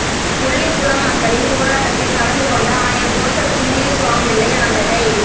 முள்ளிக்குளம் மக்களின் போராட்டத்தில் கலந்து கொண்ட ஆயர் ஜோசப் கிங்சிலி சுவாம்பிள்ளை ஆண்டகை